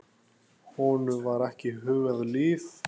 Honum var ekki hugað líf.